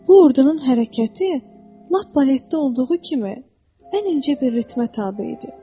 Bu ordunun hərəkəti lap baletdə olduğu kimi ən incə bir ritmə tabe idi.